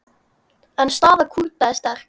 En staða Kúrda er sterk.